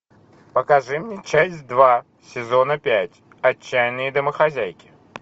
покажи мне часть два сезона пять отчаянные домохозяйки